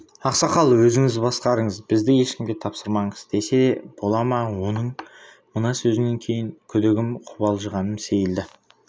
ақсақал өзіңіз басқарыңыз бізді ешкімге тапсырмаңыз десе бола ма оның мына сөзінен кейін күдігім қобалжығаным сейілді